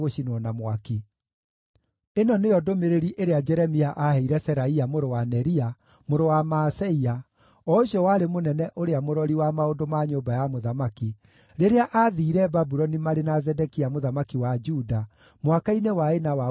Ĩno nĩo ndũmĩrĩri ĩrĩa Jeremia aaheire Seraia mũrũ wa Neria, mũrũ wa Maaseia, o ũcio warĩ mũnene ũrĩa mũrori wa maũndũ ma nyũmba ya mũthamaki, rĩrĩa aathiire Babuloni marĩ na Zedekia mũthamaki wa Juda mwaka-inĩ wa ĩna wa ũthamaki wake.